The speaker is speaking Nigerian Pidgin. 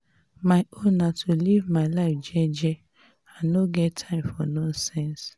my own na to live my life jeje i know get time for nonsense.